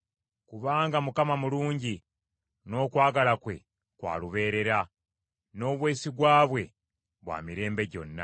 Kubanga Mukama mulungi, n’okwagala kwe kwa lubeerera; n’obwesigwa bwe bwa mirembe gyonna.